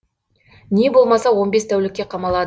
не болмаса он бес тәулікке қамалады